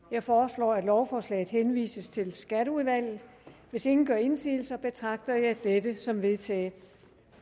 jeg foreslår at lovforslaget henvises til skatteudvalget hvis ingen gør indsigelse betragter jeg dette som vedtaget